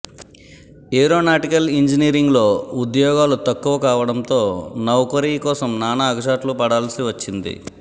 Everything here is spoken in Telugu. ఏరోనాటికల్ ఇంజినీరింగ్లో ఉద్యోగాలు తక్కువ కావడంతో నౌకరీ కోసం నానా అగచాట్లు పడాల్సి వచ్చింది